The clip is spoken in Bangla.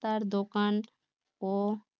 রাস্তার দোকান ও